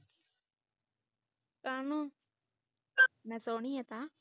ਕਾਹਨੂੰ ਮੈਂ ਸੋਹਣੀਆਂ ਤਾਂ